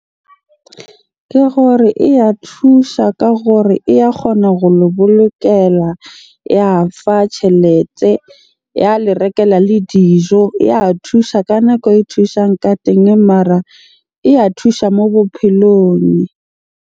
Ke gore e ya thusha ka gore e ya kgona ho le bolokela, ya fa tjhelete, ya le rekela le dijo. Ya thusha ka nako e thusang ka teng, mara e ya thusha mo bophelong.